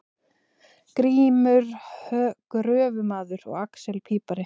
Grímur gröfumaður og axel pípari.